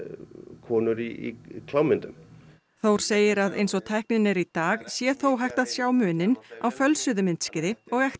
konur í klámmyndum Þór segir að eins og tæknin er í dag sé þó hægt að sjá muninn á fölsuðu myndskeiði og ekta